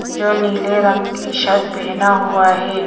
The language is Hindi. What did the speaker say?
जो नीले रंग की शर्ट पहना हुआ है।